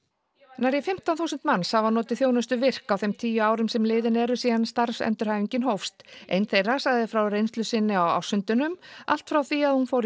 nærri fimmtán þúsund manns hafa notið þjónustu virk á þeim tíu árum sem liðin eru síðan starfsendurhæfingin hófst ein þeirra sagði frá reynslu sinni á ársfundinum allt frá því að hún fór